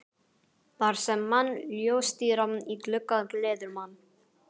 Þar sem ljóstíra í glugga gleður mann.